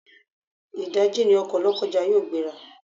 Ìdáji ni ọkọ̀ Lọ́kọ́ja yóò gbé ra.